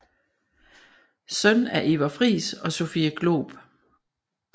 Søn af Iver Friis og Sophie Glob